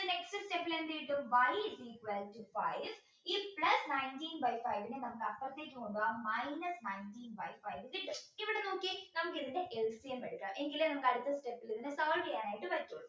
next step ൽ എന്തെഴുതും y is equal to five if plus nineteen by five നെ നമുക്ക് അപ്പുറത്തേക്ക് കൊണ്ടുപോവാൻ minus nineteen by five കിട്ടും ഇവിടെ നോക്കിയേ നമുക്ക് ഇതിൻറെ LCM എടുക്കാം എങ്കിലേ നമുക്ക് അടുത്ത step ൽ ഇതിനെ solve ചെയ്യാനായി പറ്റും